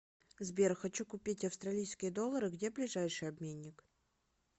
сбер хочу купить австралийские доллары где ближайший обменник